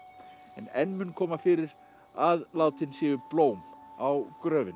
enn mun koma fyrir að látin séu blóm á gröfina